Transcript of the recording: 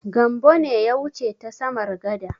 Gambo ne ya wuce ta samar gada.